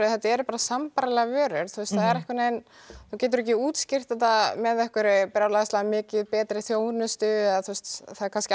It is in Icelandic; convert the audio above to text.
þetta eru sambærilegar vörur það er einhvern veginn þú getur ekki útskýrt þetta með einhverri betri þjónustu það er kannski